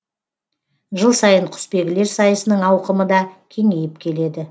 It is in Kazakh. жыл сайын құсбегілер сайысының ауқымы да кеңейіп келеді